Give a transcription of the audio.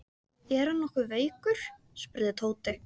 Er hann nokkuð veikur? spurði Tóti.